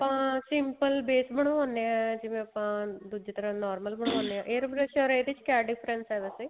ਆਪਾਂ simple base ਬਨਵਾਉਣੇ ਆ ਜਿਵੇਂ ਆਪਾਂ ਦੂਜੀ ਤਰ੍ਹਾਂ normal air pressure or ਇਹਦੇ ਚ ਕਿਆ difference ਏ ਵੈਸੇ